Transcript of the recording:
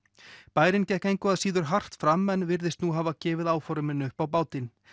bærinn gekk engu að síður hart fram en virðist nú hafa gefið áformin upp á bátinn